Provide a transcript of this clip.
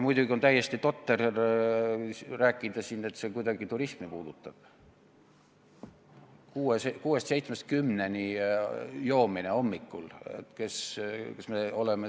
Muidugi on täiesti totter rääkida siin, et see kuidagi turismi puudutab, see kuuest või seitsmest kümneni hommikul joomine.